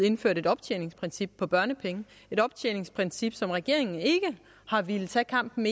indførte et optjeningsprincip for børnepenge et optjeningsprincip som regeringen ikke har villet tage kampen